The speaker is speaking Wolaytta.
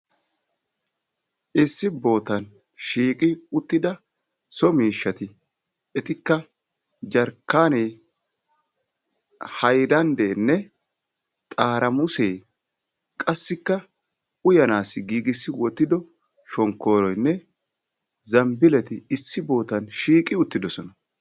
Issi bootan shiiqi uttida so miishshati etikka jarkkanee, haylanddenne xaaramusse qassilka uyyanassi giigissi wottidi shonkkoroynne shambbileti issi bootan shiiqi wottidoosona.